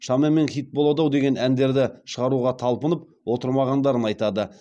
шамамен хит болады ау деген әндерді шығаруға талпынып отырмағандарын айтады